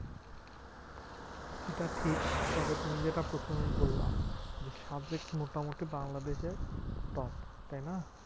এটা ঠিক, তবে তুমি যেটা প্রথমেই বললা যে, সাজেক মোটামুটি বাংলাদেশের top তাইনা?